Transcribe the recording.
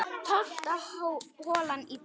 Tólfta holan í dag